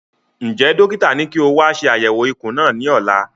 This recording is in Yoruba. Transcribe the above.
Njẹ dókítà ní kí o wa ṣe àyẹwò ikùn náà ní ọ̀la?